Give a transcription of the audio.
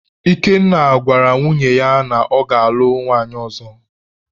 Ikenna gwara nwunye ya na ya ga-alụ nwanyị ọzọ.